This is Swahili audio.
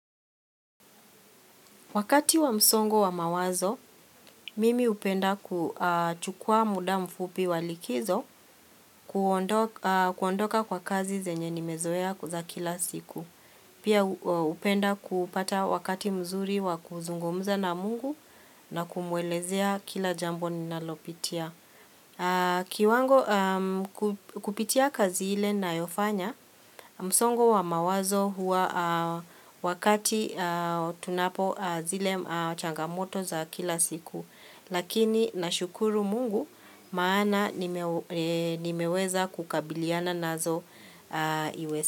Wakati wa msongo wa mawazo, mimi upenda kuchukua muda mfupi wa likizo kuondoka kwa kazi zenye nimezoea za kila siku. Pia hupenda kupata wakati mzuri wa kuzungumza na mungu na kumwelezea kila jambo ninalopitia. Kiwango kupitia kazi ile nayofanya msongo wa mawazo huwa wakati tunapo zile changamoto za kila siku Lakini nashukuru mungu maana nimeweza kukabiliana nazo iweza.